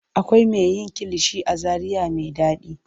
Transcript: Akwai me yin kilishi a zaria me ɗaɗi.